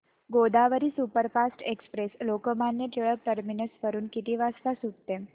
Godavari superfast express Lokmanya Tilak terminus वरून किती वाजता सुटते